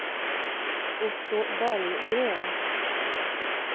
Otto Berggren